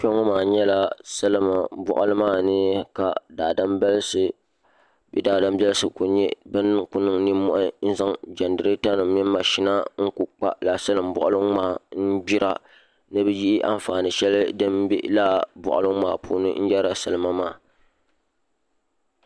Kpɛ ŋo maa nyɛla salima boɣali maa ni ka daadama nim ku zaŋ jɛnirɛta mini mashina nima n ku kpa laa salin boɣali maa n gbira ni bi yihi anfaani shɛli din bɛ laa boɣali ŋo maa puuni n yɛrila salima maa